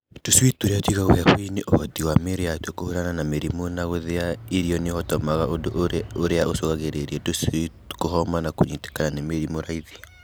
Tũcui tũrĩa tũigagwo heho-inĩ ũhoti wa mĩĩrĩ yatuo kũhũrana na mĩrimũ na gũthĩa irio nĩũhotomaga ũndũ ũrĩa ũcũngagĩrĩria tũcui kũhoma na kũnyitĩkaga nĩ mĩrimũ raithi.